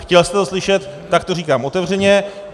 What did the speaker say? Chtěl jste to slyšet, tak to říkám otevřeně.